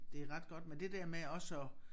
Det ret godt men det der med også at